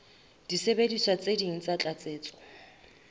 disebediswa tse ding tsa tlatsetso